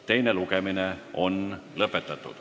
Teine lugemine on lõppenud.